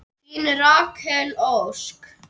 Þín Rakel Ósk.